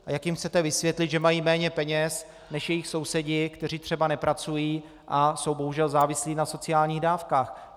A jak jim chcete vysvětlit, že mají méně peněz než jejich sousedi, kteří třeba nepracují a jsou bohužel závislí na sociálních dávkách.